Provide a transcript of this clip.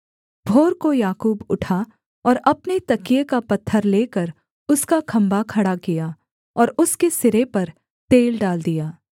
भोर को याकूब उठा और अपने तकिये का पत्थर लेकर उसका खम्भा खड़ा किया और उसके सिरे पर तेल डाल दिया